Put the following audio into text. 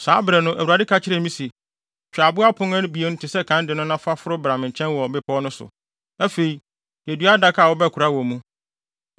Saa bere no, Awurade ka kyerɛɛ me se, “Twa abo apon no abien te sɛ kan de no na foro bra me nkyɛn wɔ bepɔw no so. Afei, yɛ dua adaka a wobɛkora wɔ mu.